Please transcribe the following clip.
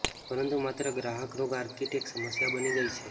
પરંતુ માત્ર ગ્રાહક રોગ આર્કિટેક્ટ સમસ્યા બની ગઈ છે